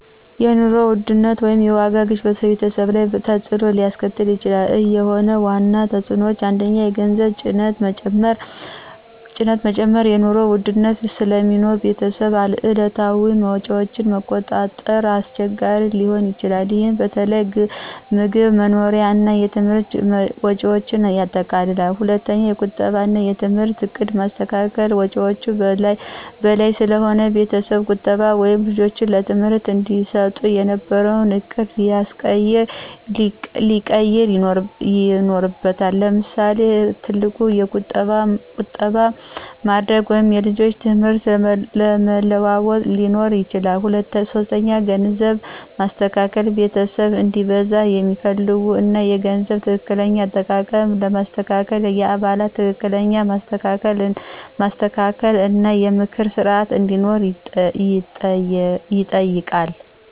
የኑሮ ውድነት (የዋጋ ግሽበት) በቤተሰብ ላይ በተፅዕኖ ሊያስከትል ይችላል፤ እነሆ ዋና ተፅዕኖዎቹ፦ 1. የገንዘብ ጭነት መጨመር – የኑሮ ውድነት ስለሚኖር ቤተሰብ የዕለታዊ ወጪዎችን ማቆጣጠር አስቸጋሪ ሊሆን ይችላል። ይህ በተለይ ምግብ፣ መኖሪያ እና ትምህርት ወጪዎችን ያጠቃልላል። 2. የቁጠባ እና የትምህርት ዕቅድ ማስተካከል – ወጪዎች በላይ ስለሆነ ቤተሰብ ቁጠባ ወይም ልጆች ትምህርት እንዲሰጡ የነበረውን ዕቅድ ሊያስቀየር ይኖርበታል። ምሳሌ፣ ትልቅ ቁጠባ ማድረግ ወይም የልጆች ትምህርት ለመለዋወጥ ሊኖር ይችላል። 3. የግንዛቤ ማስተካከል – ቤተሰብ እንዲበዛ የሚያስፈልጉ እና የገንዘብ ትክክለኛ አጠቃቀም ለማስተካከል የአባላት ትክክለኛ ማስተካከል እና የምክር ስርዓት እንዲኖር ይጠይቃል።